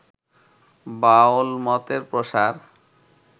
বাউলমতের প্রসার